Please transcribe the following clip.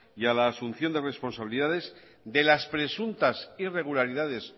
y a la asunción de responsabilidades de las presuntas irregularidades